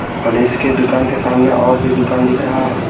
और इसके दुकान के सामने और भी दुकान दिख रहा है।